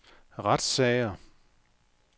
retssager